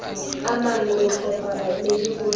amang re tlhopha baemedi gore